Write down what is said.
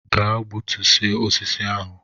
Gaa gbutuo osisi ahụ!